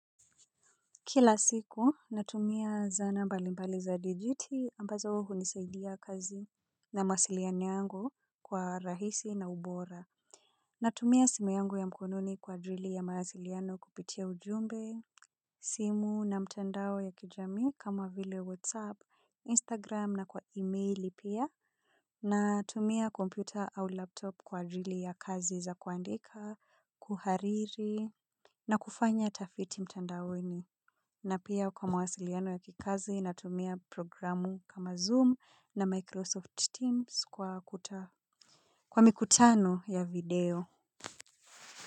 Kila siku natumia zana mbali mbali za digiti ambazo uhunisaidia kazi na mahasiliano yangu kwa rahisi na ubora. Natumia simu yangu ya mkononi kwa ajili ya mahasiliano kupitia ujumbe, simu na mtendao ya kijami kama vile whatsapp, instagram na kwa emaili pia. Natumia kompyuta au laptop kwa ajili ya kazi za kuandika, kuhariri na kufanya tafiti mtandaoni. Na pia kwa mawasiliano ya kikazi na tumia programu kama Zoom na Microsoft Teams kwa akuta. Kwa mikutano ya video.